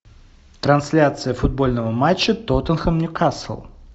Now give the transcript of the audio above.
трансляция футбольного матча тоттенхэм ньюкасл